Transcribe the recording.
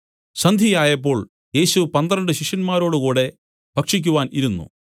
സന്ധ്യയായപ്പോൾ യേശു പന്ത്രണ്ട് ശിഷ്യന്മാരോടുകൂടെ ഭക്ഷിക്കുവാൻ ഇരുന്നു